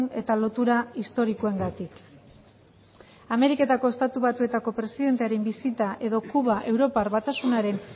eta lotura historikoengatik ameriketako estatu batuetako presidentearen bisita edo kuba europar batasunaren